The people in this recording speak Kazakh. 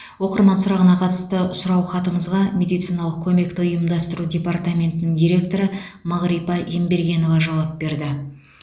оқырман сұрағына қатысты сұраухатымызға медициналық көмекті ұйымдастыру департаментінің директоры мағрипа ембергенова жауап берді